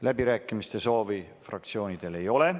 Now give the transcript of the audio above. Läbirääkimiste soovi fraktsioonidel ei ole.